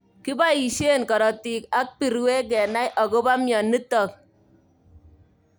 Kiboishe karotik ak birwek kenai akobo mnyenotok.